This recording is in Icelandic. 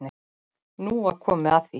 Nú var komið að því.